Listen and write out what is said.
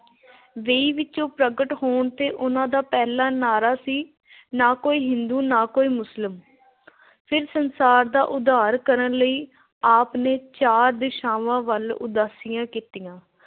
ਵੇਈਂ ਵਿੱਚੋਂ ਪ੍ਰਗਟ ਹੋਣ ਤੇ ਉਹਨਾ ਦਾ ਪਹਿਲਾ ਨਾਅਰਾ ਸੀ ਨਾ ਕੋਈ ਹਿੰਦੂ ਨਾ ਕੋਈ ਮੁਸਲਿਮ ਫੇਰ ਸੰਸਾਰ ਦਾ ਉਦਾਰ ਕਰਨ ਲਈ ਆਪ ਨੇ ਚਾਰ ਦਿਸ਼ਾਵਾਂ ਵੱਲ ਉਦਾਸੀਆਂ ਕੀਤੀਆਂ।